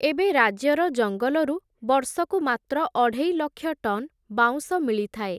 ଏବେ ରାଜ୍ୟର ଜଙ୍ଗଲରୁ, ବର୍ଷକୁ ମାତ୍ର ଅଢ଼େଇଲକ୍ଷ ଟନ୍ ବାଉଁଶ ମିଳିଥାଏ ।